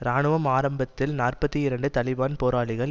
இராணுவம் ஆரம்பத்தில் நாற்பத்தி இரண்டு தலிபான் போராளிகள்